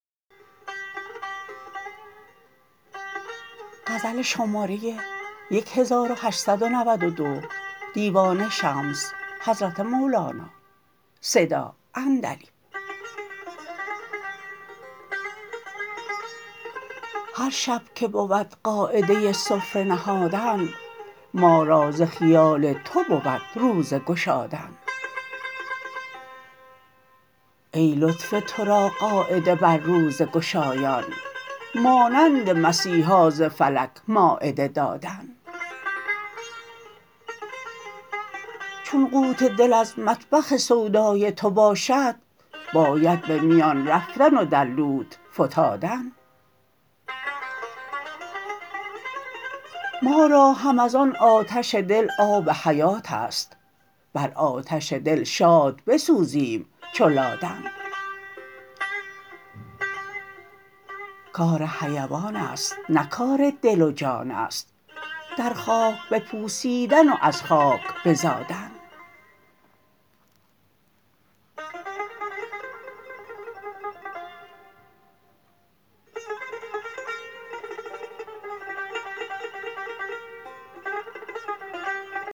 هر شب که بود قاعده سفره نهادن ما را ز خیال تو بود روزه گشادن ای لطف تو را قاعده بر روزه گشایان مانند مسیحا ز فلک مایده دادن چون قوت دل از مطبخ سودای تو باشد باید به میان رفتن و در لوت فتادن ما را هم از آن آتش دل آب حیات است بر آتش دل شاد بسوزیم چو لادن کار حیوان است نه کار دل و جان است در خاک بپوسیدن و از خاک بزادن